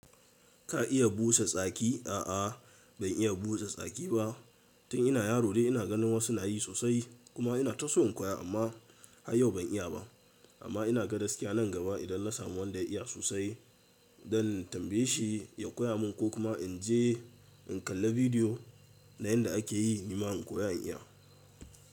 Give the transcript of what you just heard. Ka iya busa tsaki? A'a ban iya busa tsaki ba. Tun ina yaro dai ina ganin wasu na yi sosai kuma inata so in koya amma hayyau ban iya ba. Amma ina ga gaskiya nan gaba idan na samu wanda ya iya sosai don tambaye shi ya koya mun ko kuma in je in kalla bidiyo na yanda a ke yi nima in koya in iya.